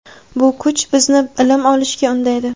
Bu kuch bizni ilm olishga undaydi.